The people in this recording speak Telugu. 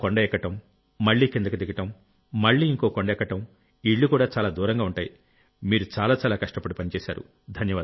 ఓ కొండ ఎక్కడం మళ్లీ కిందికి దిగడం మళ్లీ ఇంకో కొండెక్కడం ఇళ్లుకూడా చాలా దూరంగా ఉంటాయి మీరు చాలా చాలా కష్టపడి పనిచేశారు